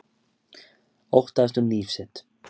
Óttaðist um líf sitt